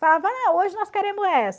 ah, hoje nós queremos essa.